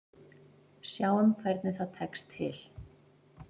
Sjáum hvernig það tekst til.